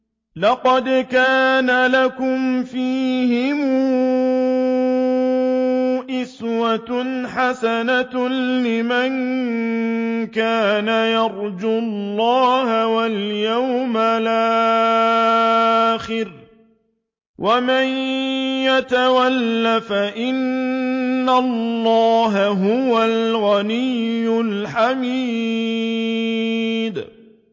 لَقَدْ كَانَ لَكُمْ فِيهِمْ أُسْوَةٌ حَسَنَةٌ لِّمَن كَانَ يَرْجُو اللَّهَ وَالْيَوْمَ الْآخِرَ ۚ وَمَن يَتَوَلَّ فَإِنَّ اللَّهَ هُوَ الْغَنِيُّ الْحَمِيدُ